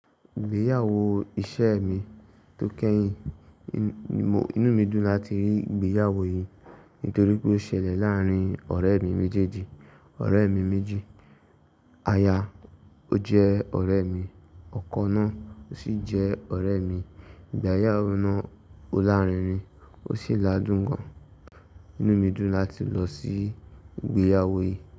Ìgbéyàwó iṣẹ mi tó kẹ́yìn, inú mi dùn láti rí ìgbéyàwó yìí nítorí pé ó ṣẹlẹ̀ láàárín ọ̀rẹ́ mi méjèèjì. Ọ̀rẹ́ mi méjì, aya ó jẹ́ ọ̀rẹ́ mi, ọkọ náà sì jẹ́ ọ̀rẹ́ mi. Ìgbéyàwó náà olárinrin, ó sì la dùn gan. Inú mi dùn láti lọ sí ìgbéyàwó yìí.